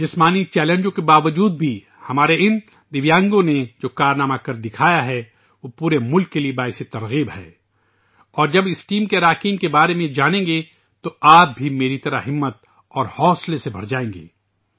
جسمانی چیلنجوں کے باوجود بھی ، ان دیویانگوں نے جو کارنامے انجام دیے ہیں وہ پورے ملک کے لیےباعث ترغیب ہیں اور جب آپ اس ٹیم کے ارکان کے بارے میں جانیں گے تو آپ بھی میری طرح ہمت اور حوصلے سے بھر جائیں گے